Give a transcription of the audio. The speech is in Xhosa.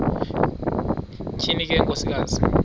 tyhini le nkosikazi